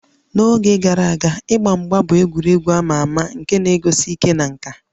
N'oge gara aga, ịgba mgba bụ egwuregwu a ma ama nke na-egosi ike na nka